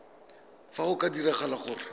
fa go ka diragala gore